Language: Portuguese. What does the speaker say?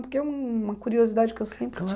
Porque é uma curiosidade que eu sempre